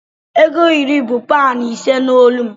ego iri bu panyụ ise na olu m